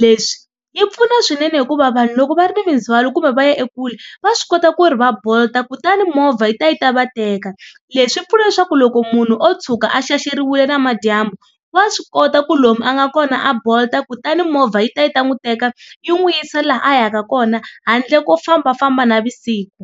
Leswi yi pfuna swinene hikuva vanhu loko va ri ni minzwaloo kumbe va ya ekule va swi kota ku ri va bolt kutani movha yi ta yi ta va teka leswi swi pfunaa leswaku loko munhu o tshuka a xaxeriwile namadyambu wa swi kota ku lomu a nga kona a bolt kutani movha yi ta yi ta n'wi teka yi n'wi yisa laha a yaka kona handle ko fambafamba navusiku.